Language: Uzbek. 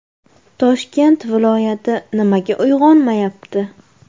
Toshkent viloyati nimaga uyg‘onmayapti?